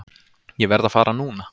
Ég verð að fara núna!